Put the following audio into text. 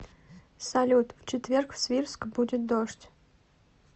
салют в четверг в свирск будет дождь